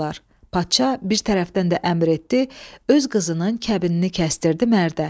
Padşah bir tərəfdən də əmr etdi, öz qızının kəbinini kəstirdi mərdə.